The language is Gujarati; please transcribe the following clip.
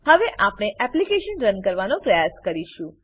હવે આપણે એપ્લીકેશનને રન કરવાનો પ્રયાસ કરીશું